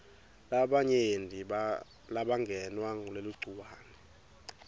labanyenti labangenwa nguleligciwane